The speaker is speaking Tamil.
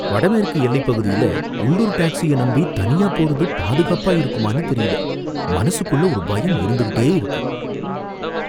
வடமேற்கு எல்லை பகுதியில உள்ளூர் டாக்ஸிய நம்பி தனியா போறது பாதுகாப்பா இருக்குமான்னு தெரியல. மனசுக்குள்ள ஒரு பயம் இருந்துகிட்டே இருக்கு.